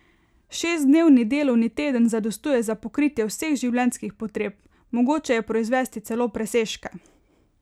Šestdnevni delovni teden zadostuje za pokritje vseh življenjskih potreb, mogoče je proizvesti celo presežke.